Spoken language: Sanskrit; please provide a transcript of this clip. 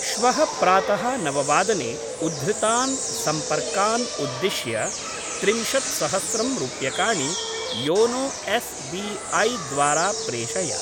श्वः प्रातः नववादने उद्धृतान् सम्पर्कान् उद्दिश्य त्रिंशत्सहस्रं रूप्यकाणि योनो एस् बी ऐ द्वारा प्रेषय।